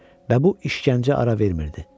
Və bu işgəncəyə ara vermirdi.